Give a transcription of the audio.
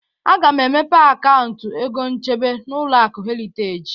Aga m emepe akauntụ egonchebe n'ụlọaku Heriteji